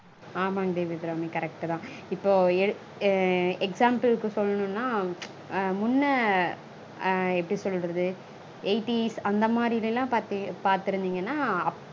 ஆமாங் தேவி அபிராமி correct -தா. இப்போ எடு example -க்கு சொல்லனுனா முன்ன அஹ் எப்படி சொல்றது? eightees அந்த மாதிரிலலாம் பாத்திருந்தீங்கனா